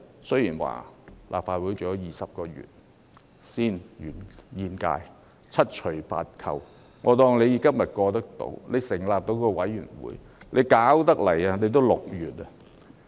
雖然立法會還有20個月才換屆，但七除八扣，即使今天能通過成立專責委員會，到真正運作已接近6月。